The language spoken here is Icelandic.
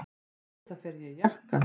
Auðvitað fer ég í jakka.